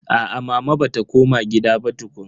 Aa mama bata koma gida ba tukun.